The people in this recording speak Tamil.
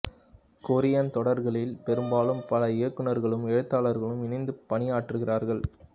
கொரியன் தொடர்களில் பெரும்பாலும் பல இயக்குநர்களும் எழுத்தாளர்களும் இணைந்து பணியாற்றுகிறார்கள்